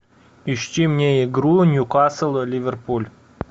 ищи мне игру ньюкасл ливерпуль